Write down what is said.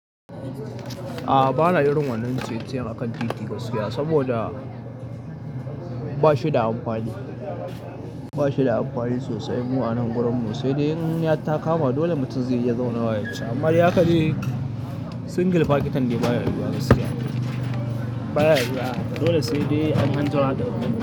A'a, bana irin wannan ciye-ciye akan titi gaskiya, saboda bashi da amfani, bashi da amfani sosai mu anan gurin mu. Sai dai in ya takama dole mutum zai iya zaunawa yaci. Amma ya kaɗai single pakitan dai baya yiwuwa gaskiya baya zuwa. Dole sai dai an anzo ana ɗaukan ceti.